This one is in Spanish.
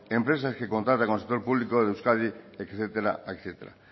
empresas que contratan con el sector público de euskadi etcétera